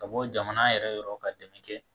Ka bɔ jamana yɛrɛ yɔrɔ ka dɛmɛ kɛ